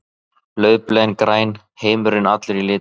Laufblöðin græn, heimurinn allur í litum.